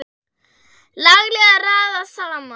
Laglega raðað saman!